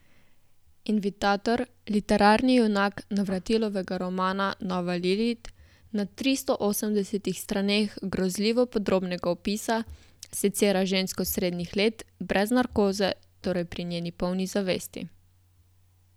Invitator, literarni junak Navratilovega romana Nova Lilit, na tristo osemdesetih straneh grozljivo podrobnega opisa secira žensko srednjih let brez narkoze, torej pri njeni polni zavesti.